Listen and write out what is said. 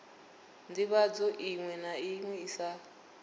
ndivhadzo iṅwe na iṅwe sa